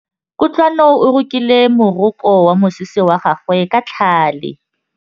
Kutlwanô o rokile morokô wa mosese wa gagwe ka tlhale.